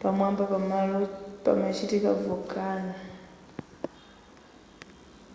pamwamba pamalo pamachitika volcano